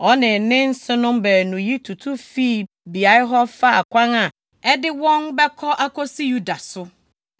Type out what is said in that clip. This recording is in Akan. Ɔne ne nsenom baanu yi tutu fii beae hɔ faa kwan a ɛde wɔn bɛkɔ akosi Yuda so.